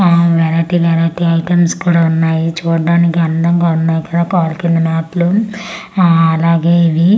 ఆ variety variety items కూడా ఉన్నాయి చూడ్డానికి అందంగా ఉన్నాయి కదా ఆ అలాగే ఇది--